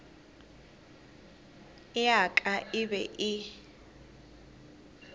ya ka e be e